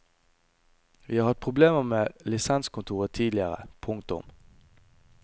Vi har hatt problemer med lisenskontoret tidligere. punktum